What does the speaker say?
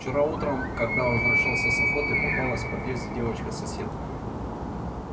вчера утром когда возвращался с охоты попалась в подъезде девочка-соседка